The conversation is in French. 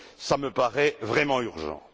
Cela me paraît vraiment urgent.